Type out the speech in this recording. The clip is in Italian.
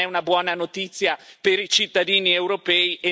Questa non è una buona notizia per i cittadini europei.